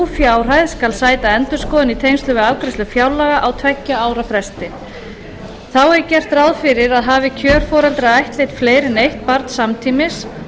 fjárhæð skal sæta endurskoðun í tengslum við afgreiðslu fjárlaga á tveggja ára fresti þá er gert ráð fyrir að hafi kjörforeldrar ættleitt fleiri en eitt barn samtímis